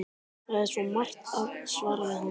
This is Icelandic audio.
Það er svo margt að- svaraði hann.